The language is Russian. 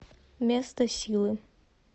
место силы